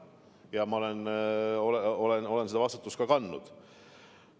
Ja ma olengi seda vastutust kandnud.